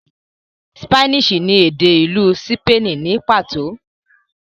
ṣípánísì ni èdè ìlú sípènì ní pàtó.